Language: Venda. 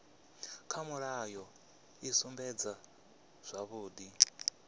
kha mulayo i sumbedza zwavhudi